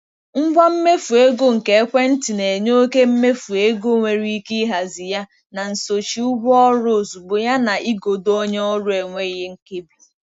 Ngwa mmefu ego nke ekwentị na-enye oke mmefu ego nwere ike ịhazi ya na nsochi ụgwọ ọrụ ozugbo yana igodo onye ọrụ enweghị nkebi.